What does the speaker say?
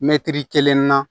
Mɛtiri kelen na